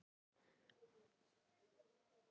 Fengur, hvenær kemur leið númer átta?